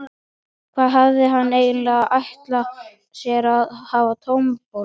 Hvað hafði hann eiginlega ætlað sér að gefa á tombólu?